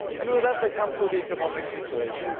With that I come to the economic situation.